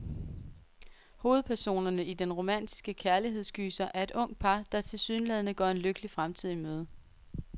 Hovedpersonerne i den romantiske kærlighedsgyser er et ungt par, der tilsyneladende går en lykkelig fremtid i møde.